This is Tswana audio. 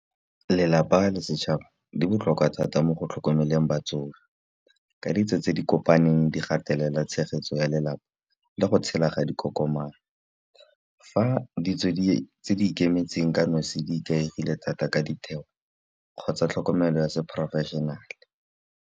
Lelapa le setšhaba di botlhokwa thata mo go tlhokomeleng batsofe, ka ditso tse di kopaneng di gatelela tshegetso ya lelapa le go tshela ga dikokomana. Fa ditso tse di ikemetseng ka nosi di ikaegile thata ka ditheo, kgotsa tlhokomelo ya se professional.